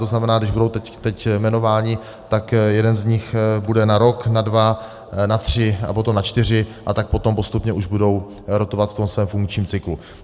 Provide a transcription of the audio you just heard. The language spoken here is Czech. To znamená, když budou teď jmenováni, tak jeden z nich bude na rok, na dva, na tři a potom na čtyři, a tak potom postupně už budou rotovat v tom svém funkčním cyklu.